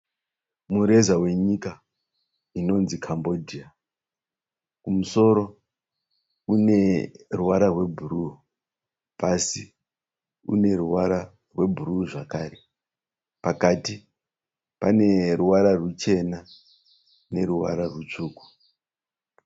Mureza wenyika inonzi Kambodia, kumusoro une ruvara rwebhuruu pasi une ruvara rwebhuruu zvakare pakati pane ruvara ruchena neruvara rutsvuku.